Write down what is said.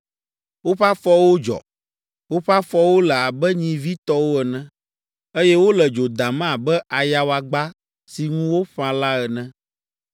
Woƒe afɔwo dzɔ; woƒe afɔwo le abe nyivi tɔwo ene, eye wole dzo dam abe ayawagba si ŋu woƒã la ene.